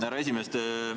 Härra esimees!